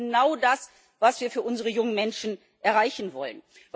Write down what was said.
Das ist genau das, was wir für unsere jungen Menschen erreichen wollen.